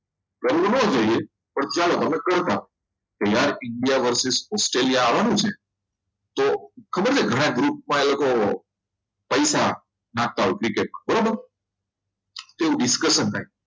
તો ચાલ હવે કંઈ પણ કે યાર India versis Australia આવવાનું છે તો ખબર આ ગ્રુપમાં એ લોકો પૈસા નાખતા હોય છે ક્રિકેટમાં બરાબર કેવું discussion થાય